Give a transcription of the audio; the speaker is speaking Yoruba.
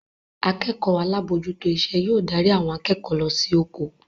Akẹ́kọ̀ọ́ alábòójútó iṣẹ́ yóò darí àwọn akẹ́kọ̀ọ́ lọ sí ojo